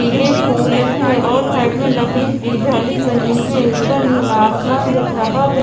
पीले फूल हैं और साइड में लकड़ी की जाली बनी है ऊपर नीला आसमान दिख रहा है।